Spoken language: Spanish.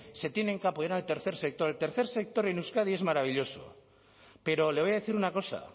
se tienen que apoyar en el tercer sector el tercer sector en euskadi es maravilloso pero le voy a decir una cosa